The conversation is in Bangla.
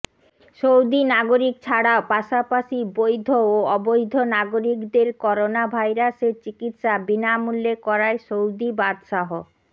সৌদি নাগরিক ছাড়াও পাশাপাশি বৈধ ও অবৈধ নাগরিকদের করোনা ভাইরাসের চিকিৎসা বিনামূল্যে করায় সৌদি বাদশাহ